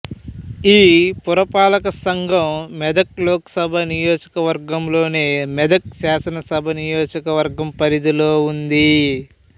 ఈ పురపాలక సంఘం మెదక్ లోకసభ నియోజకవర్గం లోని మెదక్ శాసనసభ నియోజకవర్గం పరిధిలో ఉంది